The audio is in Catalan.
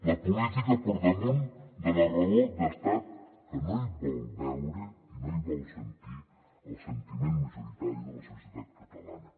la política per damunt de la raó d’estat que no hi vol veure i no hi vol sentir el sentiment majoritari de la societat catalana